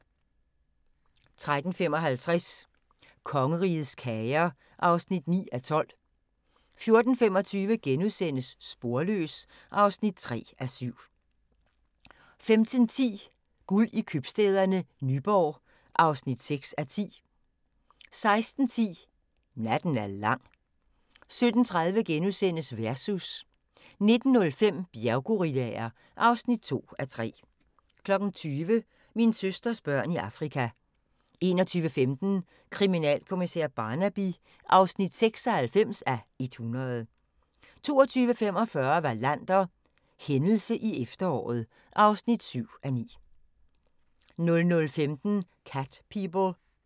13:55: Kongerigets kager (9:12) 14:25: Sporløs (3:7)* 15:10: Guld i Købstæderne – Nyborg (6:10) 16:10: Natten er lang 17:30: Versus * 19:05: Bjerggorillaer (2:3) 20:00: Min søsters børn i Afrika 21:15: Kriminalkommissær Barnaby (96:100) 22:45: Wallander: Hændelse i efteråret (7:9) 00:15: Cat People